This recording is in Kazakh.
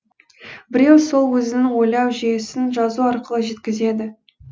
біреу сол өзінің ойлау жүйесін жазу арқылы жеткізеді